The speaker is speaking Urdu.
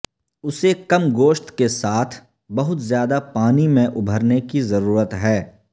اسے کم گوشت کے ساتھ بہت زیادہ پانی میں ابھرنے کی ضرورت ہے